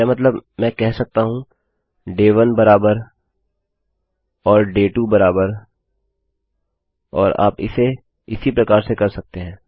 मेरा मतलब है कि मैं कह सकता हूँ डे 1 इक्वल्स आप जानते हैं और डे 2 इक्वल्स और आप इसे इसी प्रकार से कर सकते हैं